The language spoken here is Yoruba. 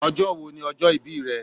Ọjọ́ wo ni ọjọ́ ìbí rẹ?